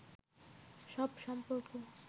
সব সম্পর্ক